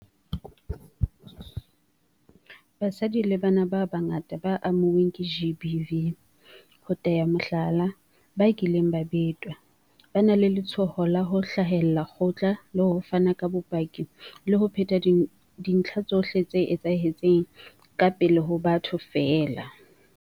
Basadi le bana ba bangata ba amuweng ke GBV, ho tea mohlala, ba kileng ba betwa, ba na le letshoho la ho hlahella kgotla le ho fana ka bopaki le ho phetha dintlha tsohle tse etsahetseng ka pele ho batho feela.